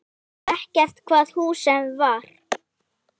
Ekki hvaða húsi sem var.